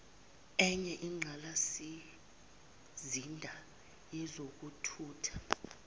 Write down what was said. enye inqalasizinda yezokuthutha